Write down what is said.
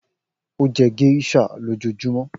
O jẹ geisha lojoojumọ